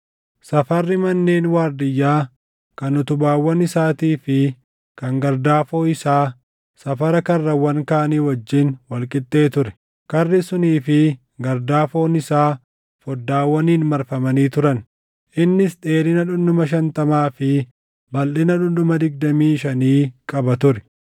Safarri manneen waardiyyaa, kan utubaawwan isaatii fi kan gardaafoo isaa safara karrawwan kaanii wajjin wal qixxee ture. Karri sunii fi gardaafoon isaa foddaawwaniin marfamanii turan. Innis dheerina dhundhuma shantamaa fi balʼina dhundhuma digdamii shanii qaba ture.